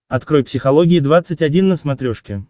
открой психология двадцать один на смотрешке